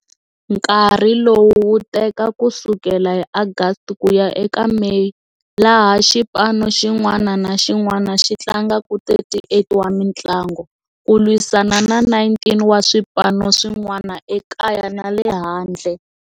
Nkarhi lowu wu teka kusukela hi August kuya eka May laha xipano xin'wana na xin'wana xi tlangaka 38 wa mintlangu, ku lwisana na 19 wa swipano swin'wana ekaya nale handle